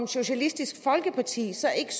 socialistisk folkeparti så ikke